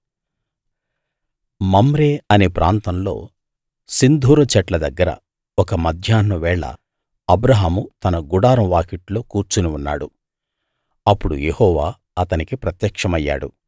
Mamre అనే ప్రాంతంలో సింధూర చెట్ల దగ్గర ఒక మధ్యాహ్నం వేళ అబ్రాహాము తన గుడారం వాకిట్లో కూర్చుని ఉన్నాడు అప్పుడు యెహోవా అతనికి ప్రత్యక్షమయ్యాడు